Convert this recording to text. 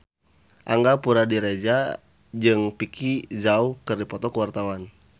Angga Puradiredja jeung Vicki Zao keur dipoto ku wartawan